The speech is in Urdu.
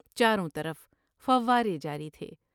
چاروں طرف فوارے جاری تھے ۔